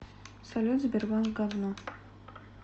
салют сбербанк гавно